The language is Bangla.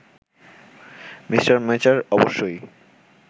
মি. মেচার অবশ্যই